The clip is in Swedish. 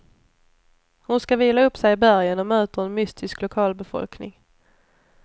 Hon ska vila upp sig i bergen och möter en mystisk lokalbefolkning.